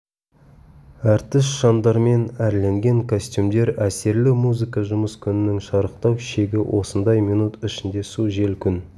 әртіс шамдармен әрленген костюмдер әсерлі музыка жұмыс күнінің шарықтау шегі осындай минут ішінде су жел күн